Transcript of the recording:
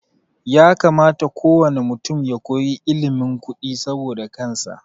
Ya kamata ko wane mutum ya koyi ilimin kudi saboda kansa